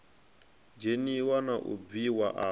dzheniwa na u bviwa afho